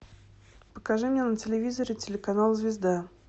покажи мне на телевизоре телеканал звезда